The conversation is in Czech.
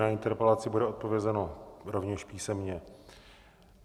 Na interpelaci bude odpovězeno rovněž písemně.